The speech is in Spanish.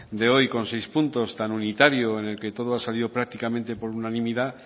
de hoy con seis puntos tan unitarios en el que todo ha salido prácticamente por unanimidad